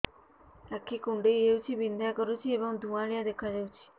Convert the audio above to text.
ଆଖି କୁଂଡେଇ ହେଉଛି ବିଂଧା କରୁଛି ଏବଂ ଧୁଁଆଳିଆ ଦେଖାଯାଉଛି